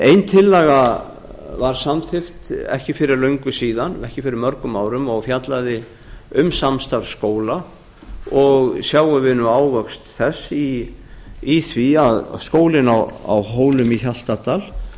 ein tillaga var samþykkt ekki fyrir löngu síðan ekki fyrir mörgum árum og fjallaði um samstarf skóla og sjáum við ávöxt þess í því að skólinn á hólum í